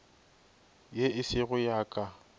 ye e sego ya ka